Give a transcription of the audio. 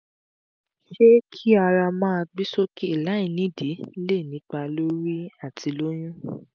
ṣé ki ara maa gbe soke lai nidi lè nípa lórí atilóyún?